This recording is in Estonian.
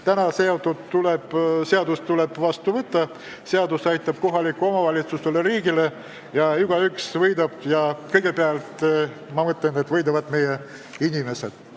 Täna tuleb seadus vastu võtta, seadus aitab kohalikke omavalitsusi ja riiki, igaüks võidab ja kõigepealt, ma mõtlen, võidavad meie inimesed.